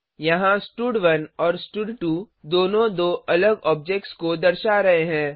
यहाँ स्टड1 और स्टड2 दोनों दो अलग ऑब्जेक्ट्स की दर्शा रहे हैं